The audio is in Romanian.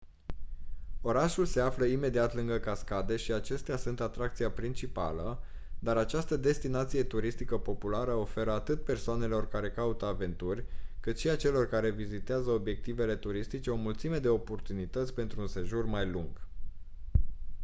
orașul se află imediat lângă cascade și acestea sunt atracția principală dar această destinație turistică populară oferă atât persoanelor care caută aventuri cât și celor care vizitează obiectivele turistice o mulțime de oportunități pentru un sejur mai lung